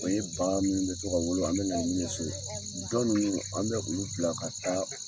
O ye ba minnu bɛ to ka wolo , an bɛ na n'u ye so. Dɔ ninnu an bɛ olu bila ka taa